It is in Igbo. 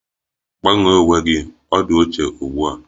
Gbanwee uwe gị! Ọ di ochie ugbua